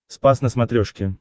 спас на смотрешке